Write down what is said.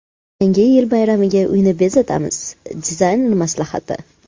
Yangi yil bayramiga uyni bezatamiz: dizaynerlar maslahati.